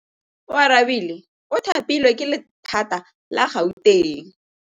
Oarabile o thapilwe ke lephata la Gauteng.